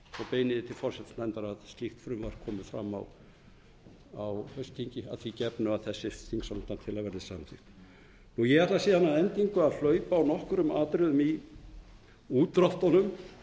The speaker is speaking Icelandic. því til forsætisnefndar að slíkt frumvarp komi fram á haustþingi að því gefnu að þessi þingsályktunartillaga verði samþykkt ég ætla síðan að endingu að hlaupa á nokkrum atriðum í útdráttunum þau eru